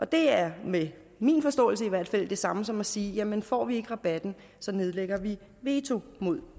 det er med min forståelse i hvert fald det samme som at sige jamen får vi ikke rabatten nedlægger vi veto mod